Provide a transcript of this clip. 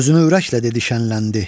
Sözünü ürəklə dedi, şənləndi.